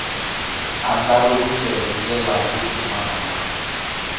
andlariwile hi ndlela yo pfumala